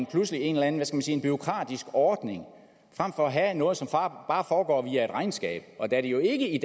pludselig en eller anden bureaukratisk ordning frem for at have noget som bare foregår via et regnskab og da det jo ikke i